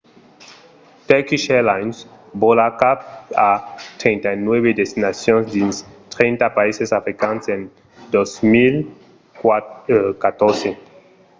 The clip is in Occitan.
turkish airlines vòla cap a 39 destinacions dins 30 païses africans en 2014